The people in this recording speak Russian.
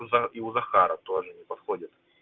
у за и у захара тоже не подходит